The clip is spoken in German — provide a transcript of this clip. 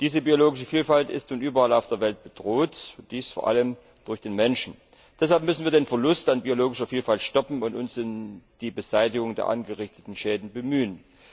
Diese biologische Vielfalt ist nun überall auf der Welt bedroht, allem durch den Menschen. Deshalb müssen wir den Verlust an biologischer Vielfalt stoppen und uns um die Beseitigung der angerichteten Schäden bemühen.